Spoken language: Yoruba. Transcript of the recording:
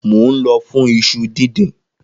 Mo nlọ fún iṣu dindin.